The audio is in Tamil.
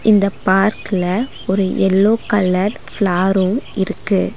இந்த பார்க்ல ஒரு எல்லோ கலர் ஃப்ளார்ரு இருக்கு.